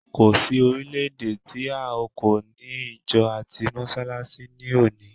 Kò sí orílẹ̀-èdè tí a kò ti ní ìjọ àti mọsálásí ní òní.